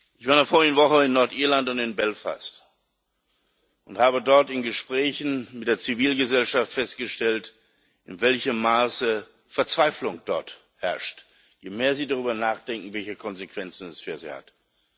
Ich war in der vorigen Woche in Nordirland und in Belfast und habe dort in Gesprächen mit der Zivilgesellschaft festgestellt, in welchem Maße dort Verzweiflung herrscht, je mehr sie darüber nachdenken, welche Konsequenzen es für sie hat.